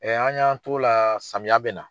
an y'an t'o la samiya bɛ na.